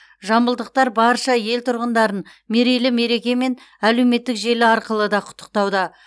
жамбылдықтар барша ел тұрғындарын мерейлі мерекемен әлеуметтік желі арқылы да құттықтауда